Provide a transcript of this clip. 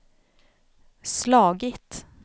slagit